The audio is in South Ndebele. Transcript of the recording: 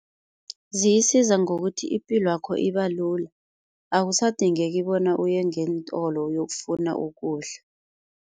Ziyisiza ngokuthi ipilwakho iba lula akusadingeki bona uye ngeentolo uyokufuna ukudla.